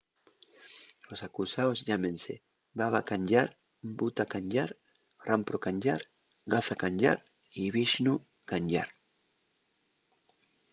los acusaos llámense baba kanjar bhutha kanjar rampro kanjar gaza kanjar y vishnu kanjar